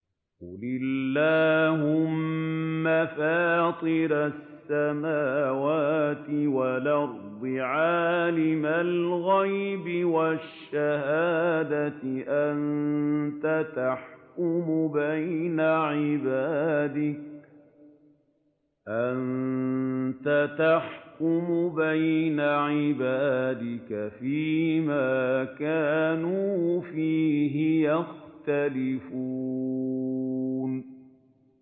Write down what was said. قُلِ اللَّهُمَّ فَاطِرَ السَّمَاوَاتِ وَالْأَرْضِ عَالِمَ الْغَيْبِ وَالشَّهَادَةِ أَنتَ تَحْكُمُ بَيْنَ عِبَادِكَ فِي مَا كَانُوا فِيهِ يَخْتَلِفُونَ